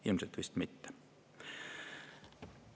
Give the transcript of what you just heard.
Ilmselt mitte.